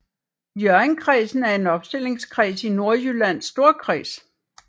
Hjørringkredsen er en opstillingskreds i Nordjyllands Storkreds